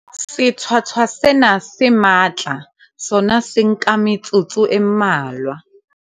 Sethwathwa sena se matla sona se nka metsotso e mmalwa.